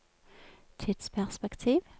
tidsperspektiv